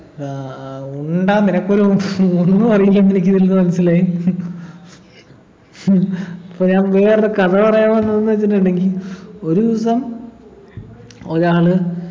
ആഹ് ആഹ് ഉണ്ട നിനക്കൊരു ഒന്നും അറിയില്ലെന്ന് എനിക്ക് ഇതിൽന്നു മനസിലായി പിന്നെ ഞാൻ വേറൊരു കഥ പറയാൻ വന്നത്ന്നു വെച്ചിട്ടുണ്ടങ്കി ഒരു ദിവസ ഒരാള്